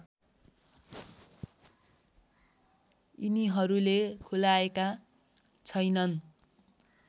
यिनीहरूले खुलाएका छैनन्